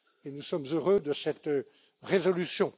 Nous sommes heureux de cette résolution.